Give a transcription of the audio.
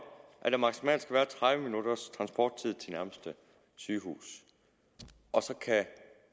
at der maksimalt skal være tredive minutters transporttid til nærmeste sygehus og så kan